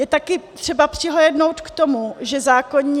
Je také třeba přihlédnout k tomu, že zákonní...